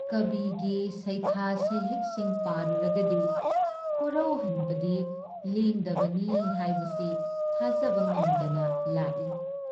ꯀꯕꯤꯒꯤ ꯁꯩꯊꯥ ꯁꯩꯍꯦꯛꯁꯤꯡ ꯄꯥꯔꯨꯔꯒꯗꯤ ꯀꯣꯔꯧꯍꯟꯕꯗꯤ ꯂꯦꯡꯗꯕꯅꯤ ꯍꯥꯏꯕꯁꯤ ꯊꯥꯖꯕ ꯉꯝꯗꯅ ꯂꯥꯛꯏ ꯫